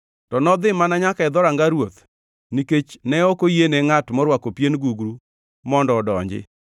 To nodhi mana nyaka e dhoranga ruoth nikech ne ok oyiene ngʼat morwako pien gugru mondo odonji.